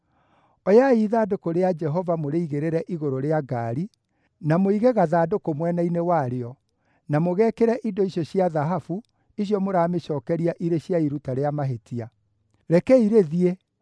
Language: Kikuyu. Oyai ithandũkũ rĩa Jehova mũrĩigĩrĩre igũrũ rĩa ngaari, na mũige gathandũkũ mwena-inĩ warĩo na mũgekĩre indo icio cia thahabu icio mũramĩcookeria irĩ cia iruta rĩa mahĩtia. Rekei rĩthiĩ,